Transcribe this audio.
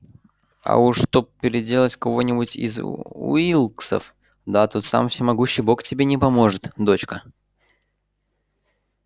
а уж чтоб переделать кого-нибудь из уилксов да тут сам всемогущий бог тебе не поможет дочка